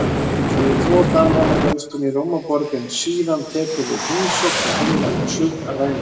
Fyrri tvo dagana dvelst hún í Rómaborg en síðan tekur við heimsókn til hinnar suðrænu